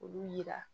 Olu yira